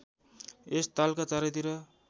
यस तालका चारैतिर